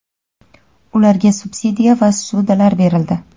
ularga subsidiya va ssudalar berildi.